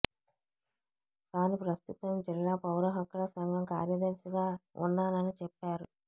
తాను ప్రస్తుతం జిల్లా పౌర హక్కుల సంఘం కార్యదర్శిగా ఉన్నానని చెప్పారు